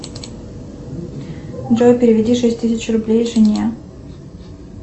джой переведи шесть тысяч рублей жене